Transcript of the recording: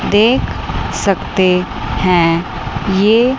देख सकते हैं ये--